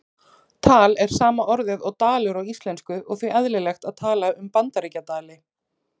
Tal er sama orðið og dalur á íslensku og því eðlilegt að tala um Bandaríkjadali.